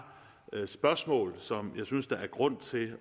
spørgsmål som jeg synes der er grund til